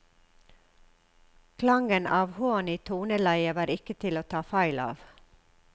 Klangen av hån i toneleiet var ikke til å ta feil av.